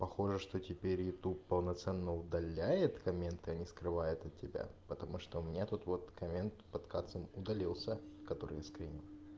похоже что теперь ютуб полноценно удаляет комментарии а не скрывает от тебя потому что у меня тут вот комментарии под капсом удалился который я скринил